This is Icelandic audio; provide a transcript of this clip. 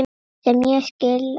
Sem ég skil alveg.